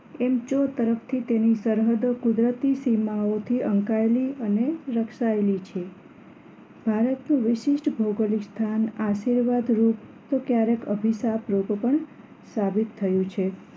એમ ચો તરફથી તેની સરહદો કુદરતી સીમાઓથી અહંકળાયેલી અને રક્ષાયેલી છે ભારતનું વિશિષ્ટ ભૌગોલિ સ્થાન આશીર્વાદરૂપ તો ક્યારેક અભિષારૂપ પણ સાબિત થયું છે